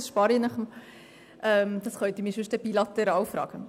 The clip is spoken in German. Das erspare ich Ihnen, das können Sie mich sonst bilateral fragen.